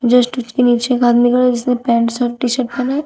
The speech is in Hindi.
जस्ट उसके नीचे एक आदमी जिसने पैंट शर्ट टी शर्ट पहना है।